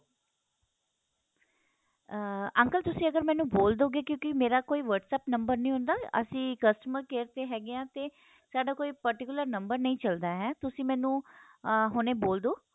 ਅਹ uncle ਅਗਰ ਤੁਸੀਂ ਮੈਨੂੰ ਬੋਲ ਦੋਵੇਗੇ ਕਿਉਕੀ ਮੇਰਾ ਕੋਈ whats app ਨੰਬਰ ਨਹੀਂ ਹੁੰਦਾ ਅਸੀਂ customer care ਤੇ ਹੈਗੇ ਏ ਤੇ ਸਾਡਾ ਕੋਈ particular ਨੰਬਰ ਨਹੀਂ ਚੱਲਦਾ ਏ ਤੁਸੀਂ ਮੈਨੂੰ ਅਹ ਹੁਣੇ ਬੋਲ ਦੋ